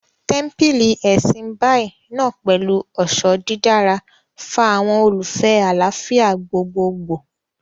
Tẹ́ḿpílì Ẹ̀sìn Báì náà pẹ̀lú ọ̀ṣọ́ dídára, fa àwọn olùfẹ́ẹ àlàáfíà gbogboogbò